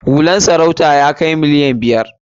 Hular sarautar ya kai miliyan biyar.